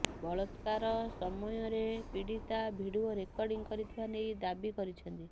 ବଳାକ୍ରାର ସମୟରେ ପୀଡିତା video recording କରିଥିବା ନେଇ ଦାବି କରିଛନ୍ତି